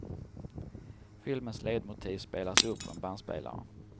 Filmens ledmotiv spelas upp på en bandspelare.